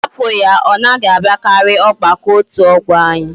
Ha put ya! Onaghi abiakari ogbako otu ogbo anyi